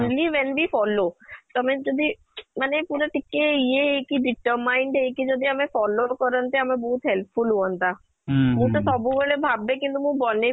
only when we follow ତମେ ଯଦି ମାନେ ପୁରା ଟିକେ ଇଏ ହେଇକି determined ହେଇକି ଯଦି ଆମେ follow କରନ୍ତେ ଆମେ ବହୁତ helpful ହୁଅନ୍ତା ମୁଁ ତ ସବୁ ବେଳେ ଭାବେ କିନ୍ତୁ ମୁଁ ବନେଇ